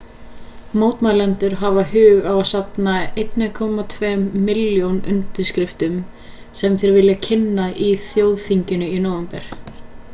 mótmælendur hafa hug á að safna 1,2 milljón undirskriftum sem þeir vilja kynna á þjóðþinginu í nóvember